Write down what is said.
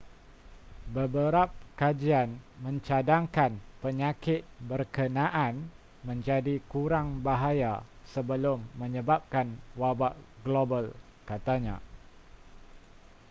beberap kajian mencadangkan penyakit berkenaan menjadi kurang bahaya sebelum menyebabkan wabak global katanya